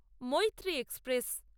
Maitree express